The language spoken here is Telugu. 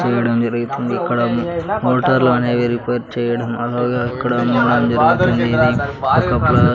చేయడం జరుగుతుంది ఇక్కడ మొ మోటర్లు అనేవి రిపేర్ చేయడం అలాగే అక్కడ మందిరం ఉండేది ఒక ప--